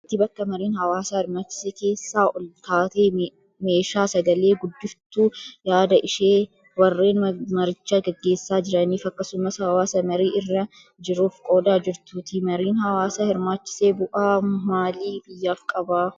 Dubartii bakka mariin hawaasa hirmaachise keessaa ol kaatee meeshaa sagalee guddiftuun yaada ishee warreen maricha gaggeessaa jiraniif akkasumas hawaasa marii irra jiruuf qoodaa jirtuuti. Mariin hawaasa hirmaachise bu'aa maalii biyyaaf qaba?